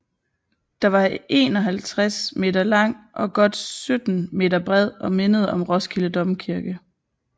Den var 51 m lang og godt 17 m bred og mindede om Roskilde Domkirke